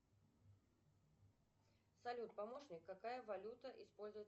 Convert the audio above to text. салют помощник какая валюта используется